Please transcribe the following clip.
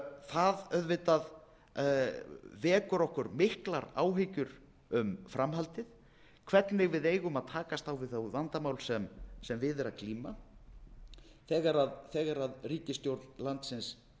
það vekur okkur auðvitað miklar áhyggjur um framhaldið hvernig við eigum að takast á við það vandamál sem við er að glíma þegar ríkisstjórn landsins virðist